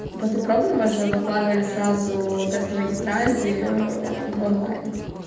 после пробного же выкладывали сразу тестовые тетради в онлайн